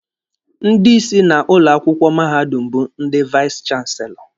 Ndị isi na ụlọ akwụkwọ mahadum bụ ndị vais chanselọ.